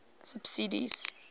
subsidies